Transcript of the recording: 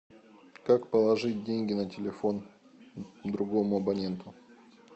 как положить деньги на телефон другому абоненту